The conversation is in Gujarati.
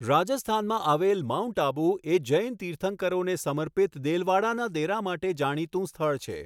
રાજસ્થાનમાં આવેલ માઉન્ટ આબુ એ જૈન તિર્થંકરોને સમર્પિત દેલવાડાના દેરા માટે જાણીતું સ્થળ છે.